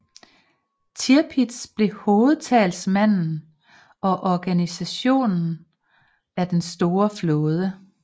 Tirpitz blev hovedtalsmanden og organisatoren af den store flåde